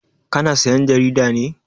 Ka na sayan jarida ne?